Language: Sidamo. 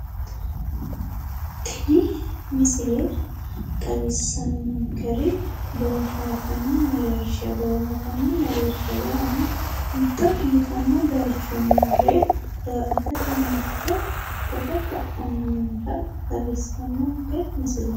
Tini misile xawisanonkeri booharanni mereersha booharanin mereersha yaanno mitto biifano darga marte footto ka"anni nootta leelishanonke misileeti